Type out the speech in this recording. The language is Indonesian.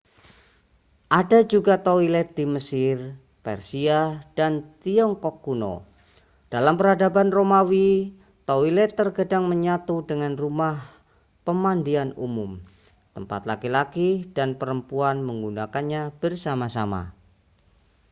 ada juga toilet di mesir persia dan tiongkok kuno dalam peradaban romawi toilet terkadang menyatu dengan rumah pemandian umum tempat laki-laki dan perempuan menggunakannya bersama-sama